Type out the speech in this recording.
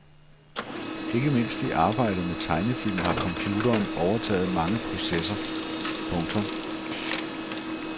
Ikke mindst i arbejdet med tegnefilm har computeren overtaget mange processer. punktum